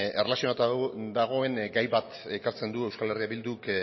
erlazionatuta dagoen gai bat ekartzen du eh bilduk